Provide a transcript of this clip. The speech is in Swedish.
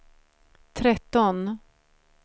tretton